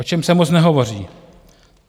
O čem se moc nehovoří?